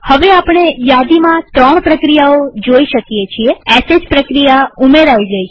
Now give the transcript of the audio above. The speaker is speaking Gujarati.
હવે આપણે યાદીમાં ૩ પ્રક્રિયાઓ જોઈ શકીએ છીએsh પ્રક્રિયા ઉમેરાઈ ગઈ છે